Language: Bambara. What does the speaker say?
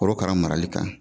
Korokara marali kan